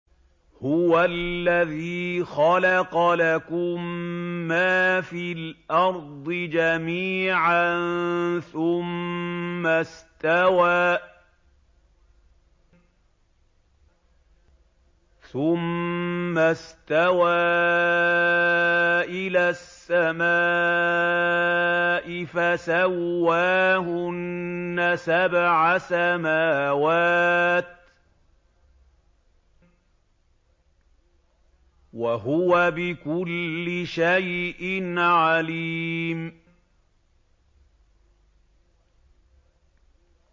هُوَ الَّذِي خَلَقَ لَكُم مَّا فِي الْأَرْضِ جَمِيعًا ثُمَّ اسْتَوَىٰ إِلَى السَّمَاءِ فَسَوَّاهُنَّ سَبْعَ سَمَاوَاتٍ ۚ وَهُوَ بِكُلِّ شَيْءٍ عَلِيمٌ